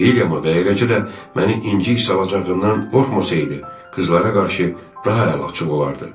Villiamı və eləcə də məni incik salacağından qorxmasaydı, qızlara qarşı daha əliaçıq olardı.